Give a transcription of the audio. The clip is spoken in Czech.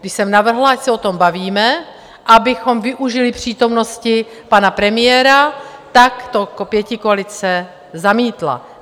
Když jsem navrhla, ať se o tom bavíme, abychom využili přítomnosti pana premiéra, tak to pětikoalice zamítla.